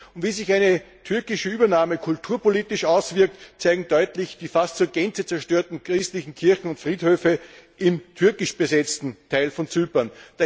Und wie sich eine türkische Übernahme kulturpolitisch auswirkt, zeigen deutlich die fast zur Gänze zerstörten christlichen Kirchen und Friedhöfe im türkisch besetzten Teil von Zypern.